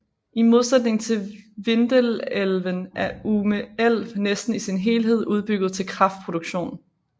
I modsætning til Vindelälven er Ume älv næsten i sin helhed udbygget til kraftproduktion